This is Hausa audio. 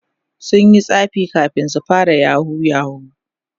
sunyi tsafi kamin su fara yahoo yahoo